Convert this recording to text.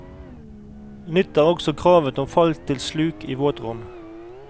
Nytt er også kravet om fall til sluk i våtrom.